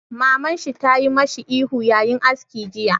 Maman shi tayi mashi ihun ya yi aski jiya!